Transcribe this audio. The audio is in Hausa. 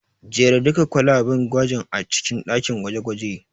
Jera duka kwalaben gwajin a cikin ɗakin gwaje-gwajen.